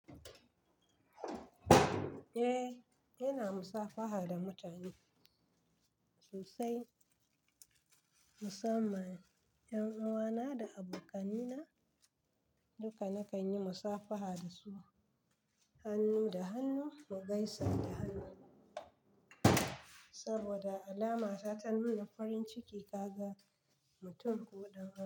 Eh, ina musafaha da mutane sosai musamman 'yan uwana da abokani na duka nakan yi musafaha dasu hannu da hannu mu gaisa da hannu saboda alama ta nuna farin ciki kaga mutum ko ɗan wasu.